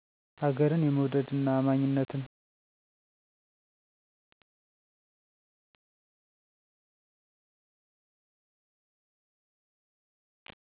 ሀገርን የመዉደድ እና አማኝነትን!